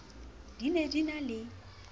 di ne di na le